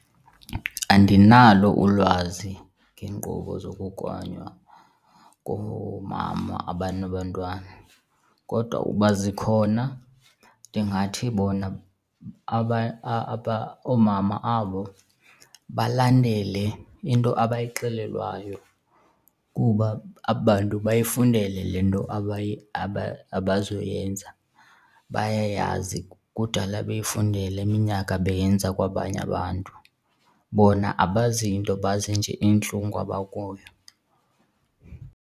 Andinalo ulwazi ngeenkqubo zokugonya koomama abanabantwana kodwa ukuba zikhona ndingathi bona oomama abo balandele into abayixelelwayo kuba aba bantu bayifundele le nto abazoyenza, bayayazi. Kudala beyifundela iminyaka beyenza kwabanye abantu. Bona abazi nto, bazi nje intlungu abakuyo.